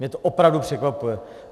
Mě to opravdu překvapuje.